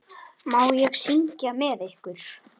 Má ég syngja með ykkur?